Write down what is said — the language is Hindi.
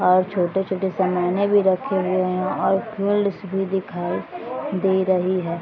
और छोटे-छोटे समाने भी रखे हुए हैं और भी दिखाई दे रही है।